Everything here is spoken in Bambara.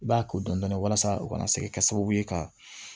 I b'a ko dɔndɔni walasa u kana se ka kɛ sababu ye ka